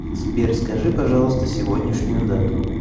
сбер скажи пожалуйста сегодняшнюю дату